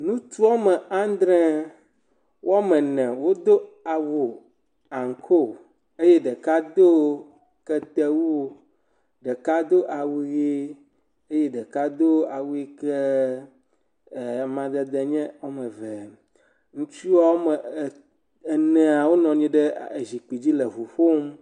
Ŋutsu woame andre, woame ne wodo awu ankoo eye ɖeka do ketewu, ɖeka do awu ʋee, eye ɖeka do awu yi keee ɛɛɛ amadede nye ame eve. Ŋutsu woame ɛɛ enea, wonɔ anyi ɖe zikpidzi le ŋu ƒom.